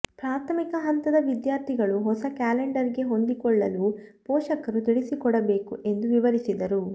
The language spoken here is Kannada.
ಪ್ರಾಥಮಿಕ ಹಂತದ ವಿದ್ಯಾರ್ಥಿಗಳು ಹೊಸ ಕ್ಯಾಲೆಂಡರ್ ಗೆ ಹೊಂದಿಕೊಳ್ಳಲು ಪೋಷಕರು ತಿಳಿಸಿಕೊಡಬೇಕು ಎಂದು ವಿವರಿಸಿದರು